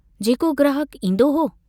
जेको ग्राहक ईन्दो हो।